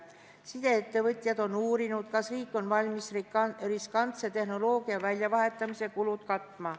Sideettevõtjad on uurinud, kas riik on valmis riskantse tehnoloogia väljavahetamise kulud katma.